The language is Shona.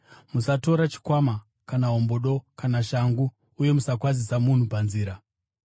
Musatora chikwama, kana hombodo, kana shangu; uye musakwazisa munhu panzira.